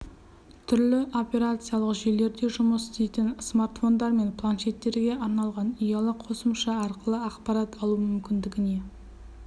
түрлі операциялық жүйелерде жұмыс істейтін смартфондар мен планшеттерге арналған ұялы қосымша арқылы ақпарат алу мүмкіндігіне